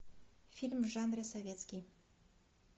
фильм в жанре советский